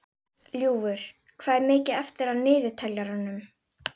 Ljúfur, hvað er mikið eftir af niðurteljaranum?